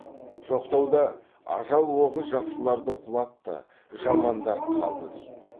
жоқтауда ажал оғы жақсыларды құлатты жамандар қалды дейді